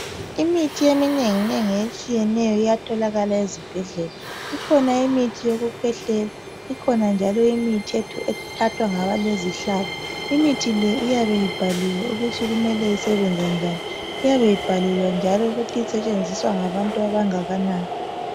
atholakala ezibhedlela ikhona imithi yokukhwehlela ikhona njalo imithi ethathwa ngabalezihlabo imithi le iyabe ibhaliwe ukuthi kumele isebenze njani iyabe ibhaliwe njalo ukuthi isetshenziswa ngabantu abangakanani